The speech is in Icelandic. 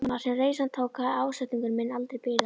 Þann tíma sem reisan tók hafði ásetningur minn aldrei bilað.